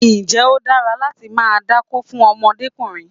Ǹjẹ́ ó dára láti máa dákó fún ọmọdékùnrin?